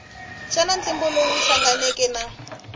xana ntlimbo lowu hlanganeke na